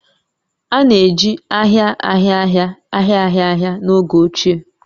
A na-eji ahia ahia ahia ahia ahia ahia n'oge ochie